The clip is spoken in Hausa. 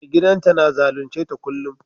Mai gidan ta na zalunce ta kullum?